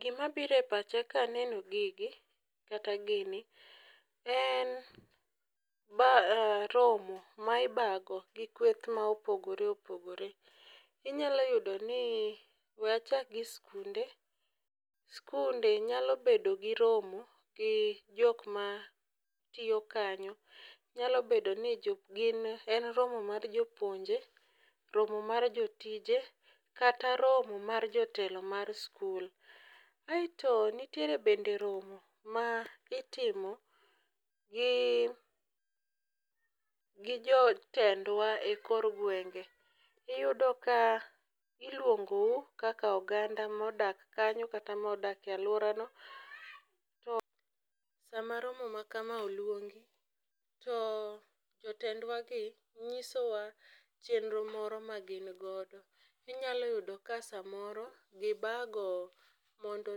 Gimabiro e pacha kaneno gigi kata gini, en romo ma ibago gi kweth ma opogore opogore inyalo yudo ni we achak gi skunde, skunde nyalo bedo gi romo gi jokmatiyo kanyo nyalo bedo ni en romo mar jopuonje, romo mar jotije kata romo mar jotelo mar skul. Aeto nitire bende romo ma itimo gi jotendwa e kor gwenge iyudo ka iluongou kaka oganda modak kanyo kata modak e alworano to sama romo ma kama oluongi to jotendwagi nyisowa chenro moro magingodo inyalo yudo ka samoro gibago mondo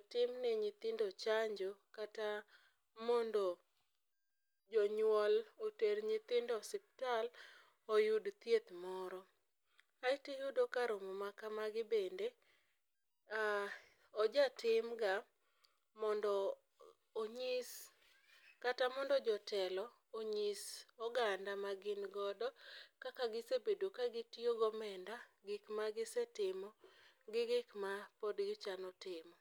otimne nyithindo chanjo kata mondo jonyuol oter nyithindo osiptal oyud thieth moro. Aeto iyudo ka romo makamagi bende ojatimga mondo onyis kata mondo jotelo onyis oganda magingodo kaka gisebedo kagitioyo gomenda gikmagisetimo gi gikma pod gichano timo.